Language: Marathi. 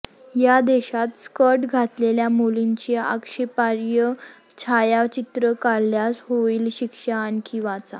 या देशात स्कर्ट घातलेल्या मुलींचे आक्षेपार्ह छायाचित्र काढल्यास होईल शिक्षा आणखी वाचा